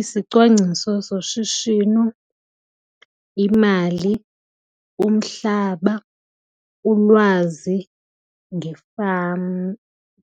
Isicwangciso soshishino, imali, umhlaba, ulwazi,